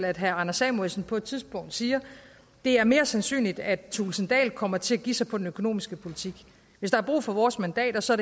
at herre anders samuelsen på et tidspunkt siger det er mere sandsynligt at thulesen dahl kommer til at give sig på den økonomiske politik hvis der er brug for vores mandater så